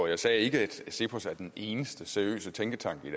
jeg sagde ikke at cepos er den eneste seriøse tænketank i